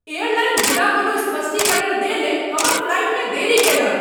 Airline बिना कोनो स्पष्टीकरण देने हमर फ्लाइटमे देरी कयलक।